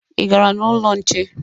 Ị gara n'ụlọ nche?